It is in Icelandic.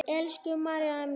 Elsku María mín.